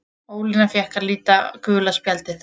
Ólína fékk að líta gula spjaldið.